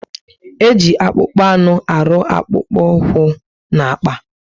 Eji akpụkpọ anụ arụ akpukpu úkwú na akpà